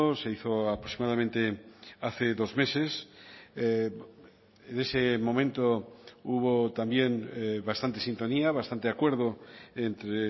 se hizo aproximadamente hace dos meses en ese momento hubo también bastante sintonía bastante acuerdo entre